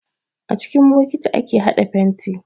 A cikin bokati ake haɗa fenti.